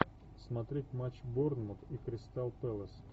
смотреть матч борнмут и кристал пэлас